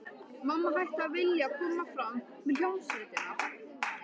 Mamma hætti að vilja koma fram með hljómsveitinni.